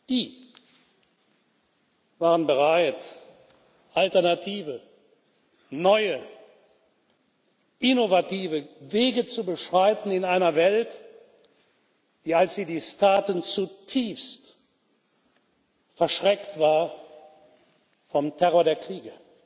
Die waren bereit, alternative, neue, innovative Wege zu beschreiten in einer Welt, die, als sie dies taten, zutiefst verschreckt war vom Terror der Kriege.